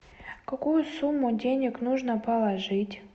какую сумму денег нужно положить